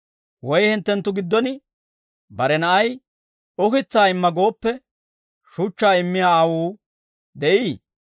Woy hinttenttu giddon bare na'ay, ‹Ukitsaa imma› gooppe, shuchchaa immiyaa aawuu de'ii?